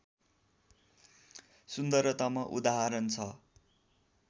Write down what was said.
सुन्दरतम उदाहरण छ